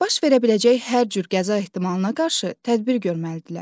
Baş verə biləcək hər cür qəza ehtimalına qarşı tədbir görməlidirlər.